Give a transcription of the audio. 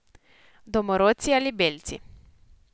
Domorodci ali belci.